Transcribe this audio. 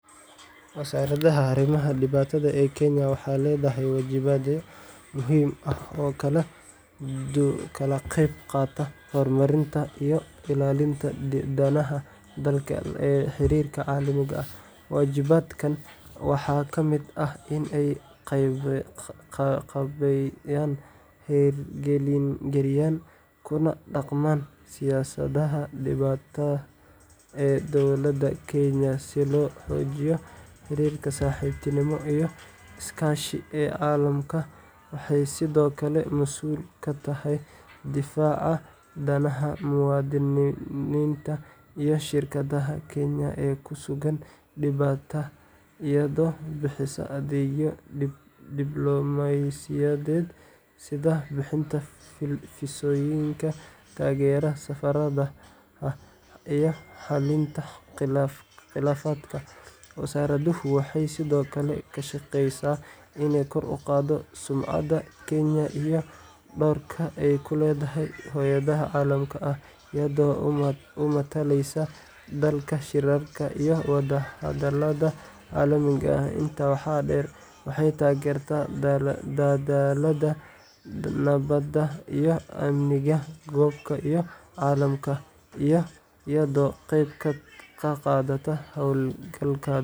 Wasaaradda Arrimaha Dibadda ee Kenya waxay leedahay waajibaadyo muhiim ah oo ka qeyb qaata horumarinta iyo ilaalinta danaha dalka ee xiriirka caalamiga ah. Waajibaadkan waxaa ka mid ah in ay qaabeeyaan, hirgeliyaan, kuna dhaqmaan siyaasadaha dibadda ee dowladda Kenya si loo xoojiyo xiriirka saaxiibtinimo iyo iskaashi ee caalamka. Waxay sidoo kale mas'uul ka tahay difaaca danaha muwaadiniinta iyo shirkadaha Kenya ee ku sugan dibadda, iyadoo bixisa adeegyo diblomaasiyadeed sida bixinta fiisooyinka, taageerada safaaradaha, iyo xalinta khilaafaadka. Wasaaraddu waxay sidoo kale ka shaqeysaa inay kor u qaaddo sumcadda Kenya iyo doorka ay ku leedahay hay’adaha caalamiga ah, iyada oo matalaysa dalka shirarka iyo wada-hadallada caalamiga ah. Intaa waxaa dheer, waxay taageertaa dadaallada nabadda iyo amniga gobolka iyo caalamka, iyadoo ka qeyb qaadata hawlgallada.